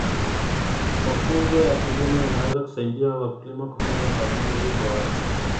Mafunzo ya kilimo yanaweza kusaidia wakulima kufanya maamuzi bora.